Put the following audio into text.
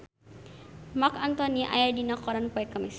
Marc Anthony aya dina koran poe Kemis